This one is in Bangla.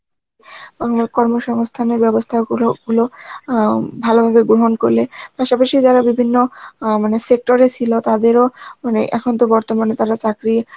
আমরা কর্মসংস্থানের ব্যবস্থা গুরু~ গুলো অ্যাঁ ভালো ভাবে গ্রহণ করলে, পাসা পাসি যারা বিভিন্ন অ্যাঁ মানে sector এ ছিল তাদের ও এখন তো বর্তমানে তারা চাকরি